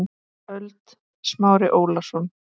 ÖLD Smári Ólason